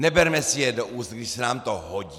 Neberme si je do úst, když se nám to hodí!